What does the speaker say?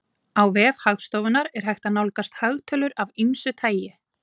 Á vef Hagstofunnar er hægt að nálgast hagtölur af ýmsu tagi.